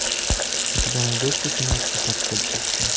у тебя найдется киношка как стать большим